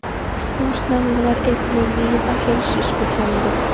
Húsnæði var einnig víða heilsuspillandi.